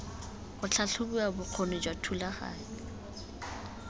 ga tlhatlhobiwa bokgoni jwa thulaganyo